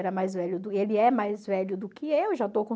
era mais velho e ele é mais velho do que eu, já